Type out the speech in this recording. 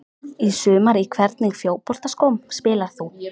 Í sumar Í hvernig fótboltaskóm spilar þú?